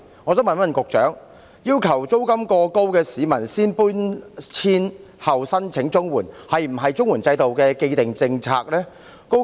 我想問局長，要求租金過高的市民先搬遷後申請綜援，是否綜援制度的既定政策？